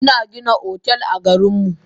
Ina Gina otel a garinmu.